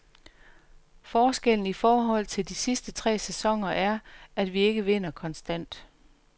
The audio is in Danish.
Forskellen i forhold til de sidste tre sæsoner er, at vi ikke vinder konstant.